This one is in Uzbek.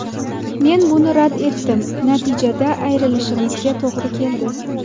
Men buni rad etdim, natijada ayrilishimizga to‘g‘ri keldi”.